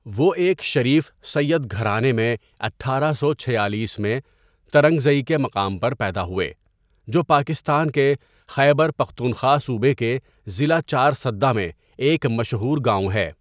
وہ ایک شریف سیّد گھرانے میں اٹھارہ سو چھیالیس میں ترنگزئی کے مقام پر پیدا ہوئے جو پاکستان کے خیبر پختونخوا صوبے کے ضلع چارسدہ میں ایک مشہور گاوں ہے.